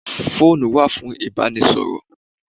Phone wà fún ìbánisọ̀rọ̀.